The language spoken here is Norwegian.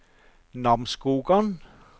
Namsskogan